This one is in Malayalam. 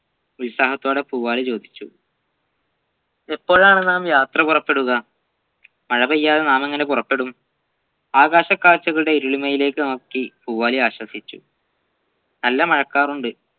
ഉത്സാഹത്തോടെ പൂവാലി ചോദിച്ചു എപ്പോഴാണ് നാം യാത്ര പുറപ്പെടുക മഴ പെയ്യാതെ നാം എങ്ങനെ പുറപ്പെടും ആകാശകാഴ്ചകളുടെ ഇരുളിമയിലേക് നോക്കി പൂവാലി ആശ്വസിച്ചു നല്ല മഴക്കാറുണ്ട്